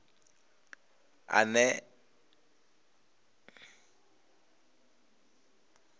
ane a oea sa zwe